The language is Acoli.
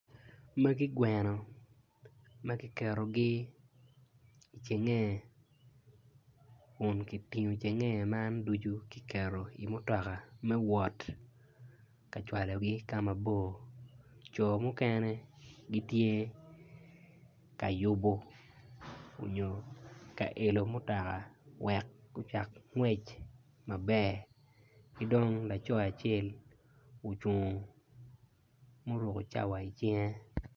Magi gweno makiketogi icengenge kun kitingo cengenge man ducu kiketo i mutoka me wot kacwalo gi ka mabor jo mukene gitye kayubo onyo ka ilo mutoka wek gucak ngwec maber kidong laco acel ocung ma oruko cawa icinge.